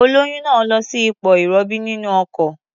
Olóyún náà lọ sí ipò ìrọbí nínú ọkọ̀.